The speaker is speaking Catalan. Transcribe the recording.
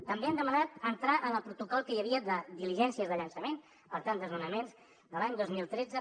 també hem demanat entrar en el protocol que hi havia de diligències de llançament per tant desnonaments de l’any dos mil tretze